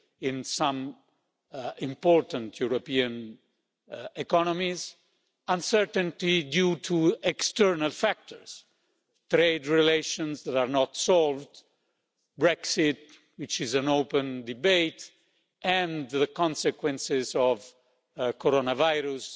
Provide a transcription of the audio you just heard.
in some important European economies and uncertainty due to external factors trade relations that are not solved, Brexit, which is an open debate, and the consequences of the coronavirus.